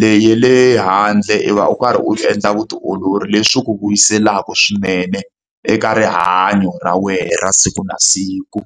Leyi ya le handle u va u karhi u endla vutiolori, leswi ku vuyiselaka swinene eka rihanyo ra wena ra siku na siku.